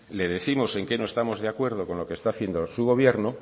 le décimos en qué no estamos de acuerdo con lo que está haciendo su gobierno